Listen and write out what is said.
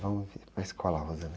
Vamos para a escola.